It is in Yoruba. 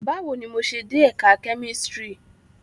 Bawo ni mo ṣe de Ẹka Kemistri?